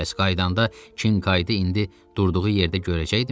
Bəs qayıdanda Kinkaydı indi durduğu yerdə görəcəkdimi?